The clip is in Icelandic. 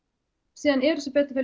síðan eru sem betur fer